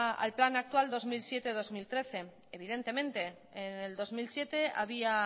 al plan actual dos mil siete dos mil trece evidentemente en el dos mil siete había